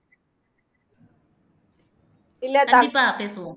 கண்டிப்பா பேசுவோம்